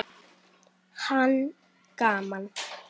Hann: Gaman.